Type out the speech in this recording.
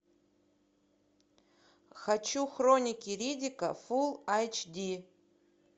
хочу хроники риддика фулл эйч ди